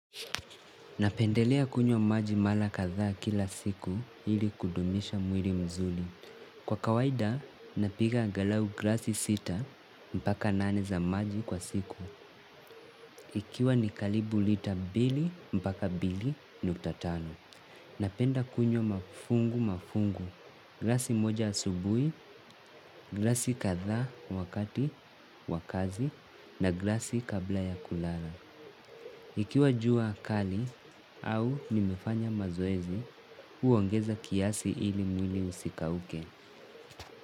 Napendelea kunywa maji mara kadhaa kila siku ili kudumisha mwili mzuri. Kwa kawaida, napiga angalau glasi sita mpaka nane za maji kwa siku. Ikiwa ni karibu lita mbili mpaka mbili nukta tano. Napenda kunywa mafungu mafungu, glasi moja asubui, glasi kadhaa wakati wa kazi na glasi kabla ya kulala. Ikiwa jua kali au nimefanya mazoezi, huongeza kiasi ili mwili usikauke.